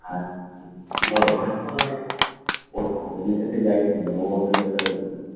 ওর husband এর সাথে যাই হোক না কেন ও অন্তত একটা এ করবে